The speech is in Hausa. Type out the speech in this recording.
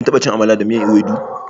Kin taɓa Chin tuwon Amala da miyan Ewedu da?